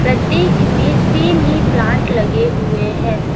प्रत्येक में सेम ही प्लांट लगे हुए है।